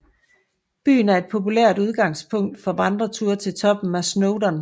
Byen er et populært udgangspunkt for vandreture til toppen af Snowdon